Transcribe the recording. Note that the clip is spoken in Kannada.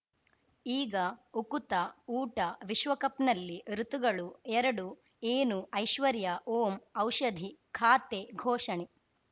ಈಗ ಉಕುತ ಊಟ ವಿಶ್ವಕಪ್‌ನಲ್ಲಿ ಋತುಗಳು ಎರಡು ಏನು ಐಶ್ವರ್ಯಾ ಓಂ ಔಷಧಿ ಖಾತೆ ಘೋಷಣೆ